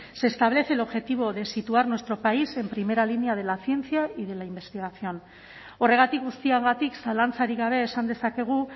se establece el objetivo de situar nuestro país en primera línea de la ciencia y de la investigación horregatik guztiagatik zalantzarik gabe esan dezakegu